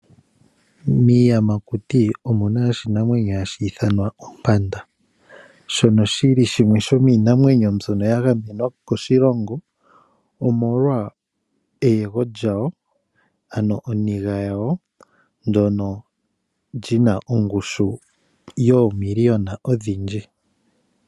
Miiyamakuti omuna oshinamwenyo hashi ithanwa ompanda shono shili shomiinamwenyo mbyono yili yagamenwa koshilongo omolwa eyego lyawo ano oniga yawo ndjono yina ongushu yoomiliyona odhindji.